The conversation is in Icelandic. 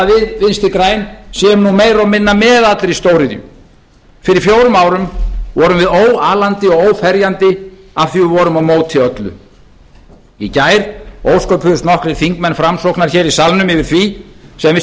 við vinstri græn sé nú meira og minna með allri stóriðju fyrir fjórum árum vorum við óalandi og óferjandi af því að við vorum á móti öllu í gær ósköpuðust nokkrir þingmenn framsóknar hér í salnum yfir því sem við